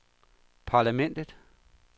parlamentet